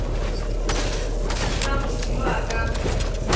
na motho yo a ka